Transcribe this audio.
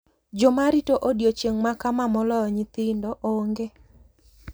Jomarito odiechieng` makama moloyo nyithindo onge.